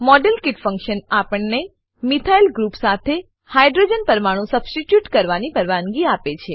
model kit function આપણને methyl group methyl group સાથે hydrogen hydrogen પરમાણુ સબસ્ટીટ્યુટ કરવાની પરવાનગી આપે છે